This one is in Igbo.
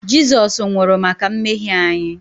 Jizọs nwụrụ maka mmehie anyị